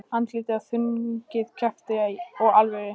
Andlitið er þrungið krafti og alvöru.